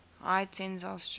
high tensile strength